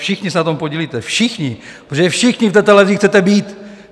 Všichni se na tom podílíte, všichni, protože všichni v té televizi chcete být.